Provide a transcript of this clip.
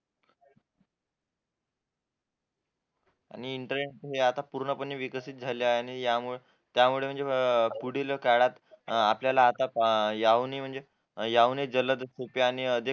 आणि आता हे पूर्णपणे विकसित झाले आहे त्यामुळे त्यामुळे पुढील काळात आपल्याला आता याहून म्हणजे उपयोग